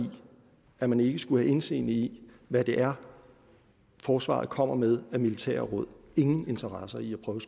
at man ikke skulle have indseende i hvad det er forsvaret kommer med af militære råd ingen interesse i at prøve